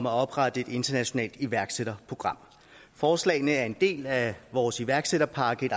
at oprette et internationalt iværksætterprogram forslagene er en del af vores iværksætterpakke et